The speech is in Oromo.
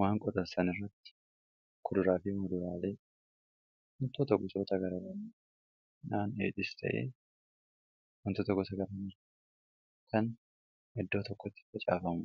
waan qotansan irratti kuduraafii madulaalee huntoo ta kosoata garab naan eexis ta'ee hunto tokko tagaramira kan eddoo tokkotti facaafamu